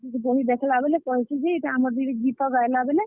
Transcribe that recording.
ବହି ଦେଖଲା ବେଲେ କହେସି ଯେ ଆମର୍ ଦିଦି ଗୀତ ଗାଏଲା ବେଲେ।